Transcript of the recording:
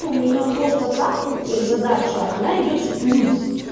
у меня просто так задача она идёт в плюс